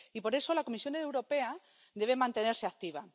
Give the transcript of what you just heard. Y por eso, la Comisión Europea debe mantenerse activa.